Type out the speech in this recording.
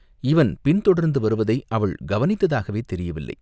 இவன் பின் தொடர்ந்து வருவதை அவள் கவனித்ததாகவே தெரியவில்லை.